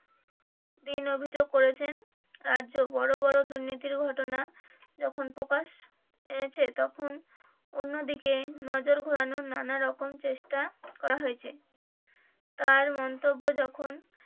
তিনি অভিযোগ করছেন রাজ্য বড়ো বড়ো দুর্নীতির ঘটনা যখন প্রকাশ পেয়েছে তখন অন্য দিকে নজর ঘুরানোর নানা রকম চেষ্টা করা হয়েছে তার মন্তব্য, যখন